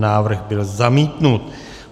Návrh byl zamítnut.